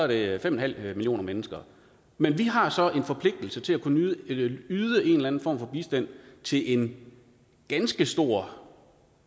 det er fem millioner mennesker men vi har så en forpligtelse til at kunne yde yde en eller anden form for bistand til en ganske stor